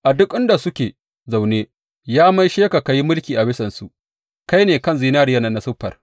A duk inda suke zaune, ya maishe ka ka yi mulki a bisansu kai ne kan zinariyan nan na siffar.